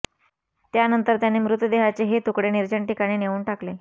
त्यानंतर त्यांनी मृतदेहाचे हे तुकडे निर्जण ठिकाणी नेऊन टाकले